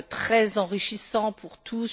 très enrichissant pour tous.